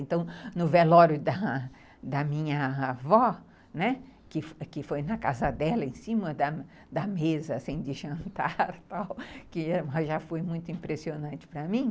Então, no velório da da minha avó, né, que foi na casa dela, em cima da mesa, assim, sem de jantar, já foi muito impressionante para mim.